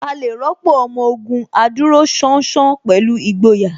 A lè rọ́pò Ọmọ Ògùn adúróṣánṣán pẹ̀lú ìgboyà